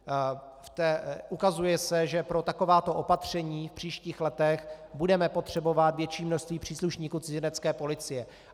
Ukazuje se, že pro takováto opatření v příštích letech budeme potřebovat větší množství příslušníků Cizinecké policie.